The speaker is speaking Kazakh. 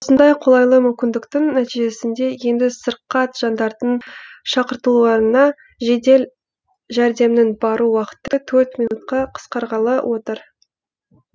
осындай қолайлы мүмкіндіктің нәтижесінде енді сырқат жандардың шақыртуларына жедел жәрдемнің бару уақыты төрт минутқа қысқарғалы отыр